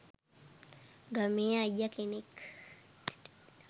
ගමේ අයිය කෙනෙක්.